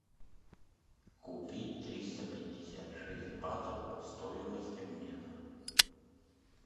купить триста пятьдесят шесть батов стоимость обмена